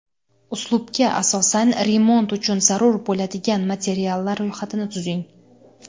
Uslubga asosan remont uchun zarur bo‘ladigan materiallar ro‘yxatini tuzing.